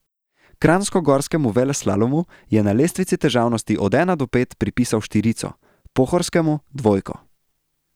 Kranjskogorskemu veleslalomu je na lestvici težavnosti od ena do pet pripisal štirico, pohorskemu dvojko.